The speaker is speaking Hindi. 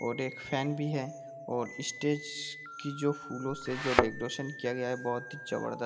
और एक फेन भी है और स्टेज की जो फूलो से जो डेकोरेशन किया गया है बहुत ही जबरदस्त--